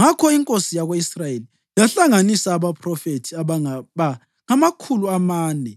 Ngakho inkosi yako-Israyeli yahlanganisa abaphrofethi abangaba ngamakhulu amane